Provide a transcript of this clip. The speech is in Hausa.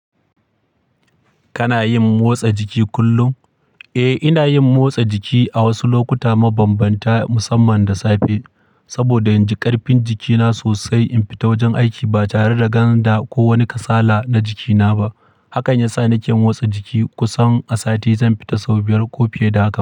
Kana yin motsa jiki kullum? Eh, ina yin motsa jiki a wasu lokuta mabambanta musamman da safe, saboda in ji ƙarfin jikina sosai in fita wajen aiki ba tare da ganda ko wani kasala na jikina ba. Hakan yasa nake motsa jiki kusan a sati zan fita sau biyar ko fiye da haka.